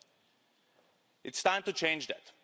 It is time to change that.